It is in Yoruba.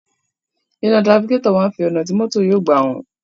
Iná tirafikátọ̀ máa ń fi ọ̀nà tí mọ́tò yóò gbà hàn.